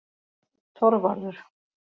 Þorvarður